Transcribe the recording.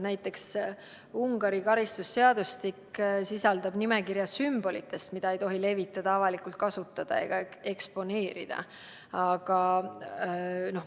Näiteks Ungari karistusseadustik sisaldab nimekirja sümbolitest, mida ei tohi levitada, avalikult kasutada ega eksponeerida.